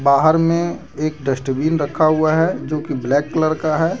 बाहर में एक डस्टबिन रखा हुआ है जो कि ब्लैक कलर का है।